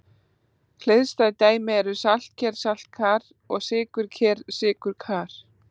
Hliðstæð dæmi eru saltker-saltkar og sykurker-sykurkar.